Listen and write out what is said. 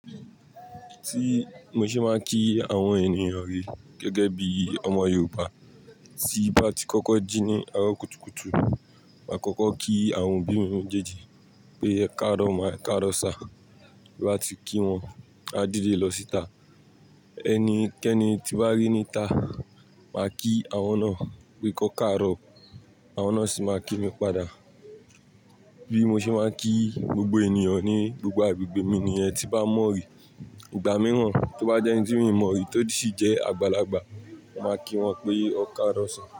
Tí mo ṣe máa kí àwọn ènìyàn re gẹ́gẹ́ bí ọmọ Yorùbá, tí bá ti kọ́kọ́ jí ní àárọ̀ kùtùkùtù, màá kọ́kọ́ kí àwọn obí mi méjeji pé "ẹ káarọ̀ máa, ẹ káarọ̀ sáà". Bí n bá ti kí wọ́n, a dìde lọ síta. Ẹni kẹ́ni tí n bá rí níta, màá kí àwọn náà pé "kọ́ káàárọ̀", àwọn náà sì máa kí mi padà. Bí mo ṣe máa kí gbogbo ènìyàn ní gbogbo àgbègbè mi ni niyen tí bá mọ̀rí. Ìgbà mìíràn tí ó bá jẹ́ ẹni tí mi ò mọ̀rí tí ó sì jẹ́ àgbàlagbà, màá kí wọ́n pé "ọ́ káàrọ̀ sáà".